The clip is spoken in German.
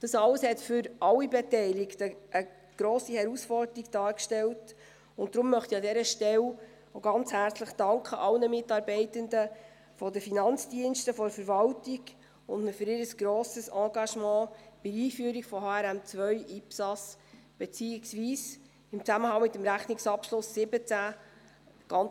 Dies alles stellte für alle Beteiligten eine grosse Herausforderung dar, und darum möchte ich an dieser Stelle auch allen Mitarbeitenden der Finanzdienste der Verwaltung herzlich danken für ihr grosses Engagement bei der Einführung von HRM2/IPSAS beziehungsweise im Zusammenhang mit dem Rechnungsabschluss 2017.